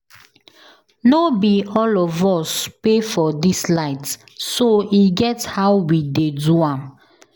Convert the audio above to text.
No be all of us pay for dis light so e get how we dey do am